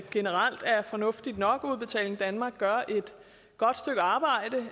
generelt er fornuftigt nok udbetaling danmark gør et godt stykke arbejde